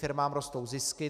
Firmám rostou zisky.